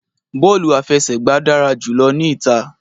Bọọlu afẹsẹgba dara julọ ni ita